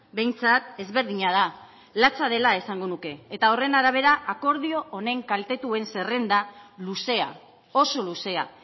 behintzat ezberdina da latza dela esango nuke eta horren arabera akordio honen kaltetuen zerrenda luzea oso luzea